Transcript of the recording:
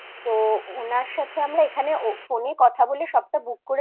ওনার সাথে আমরা এখানে phone এ কথা বলে সবটা